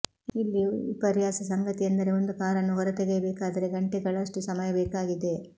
ಇಲ್ಲಿ ವಿಪರ್ಯಾಸ ಸಂಗತಿಯೆಂದರೆ ಒಂದು ಕಾರನ್ನು ಹೊರ ತೆಗೆಯಬೇಕಾದರೆ ಗಂಟೆಗಳಷ್ಟು ಸಮಯ ಬೇಕಾಗಿದೆ